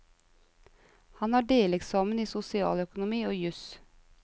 Han har deleksamen i sosialøkonomi og jus.